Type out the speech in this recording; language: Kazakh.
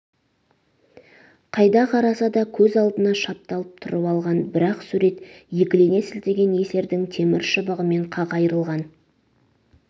қайда қараса да көз алдына шапталып тұрып алған бір-ақ сурет екілене сілтеген есердің темір шыбығы мен қақ айырылған